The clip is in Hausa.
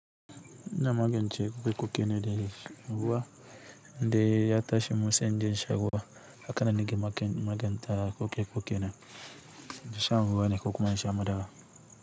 Ina magance koke-kokene de sha ruwa de ya tashi musenje shan ruwa, haka na nige maganta koke-kokene de shan ruwa ne ka kuma in sha madawa.